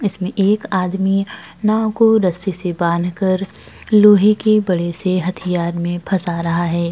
इसमें एक आदमी नाव को रस्सी से बांधकर लोहे के बड़े से हथियार में फँसा रहा है।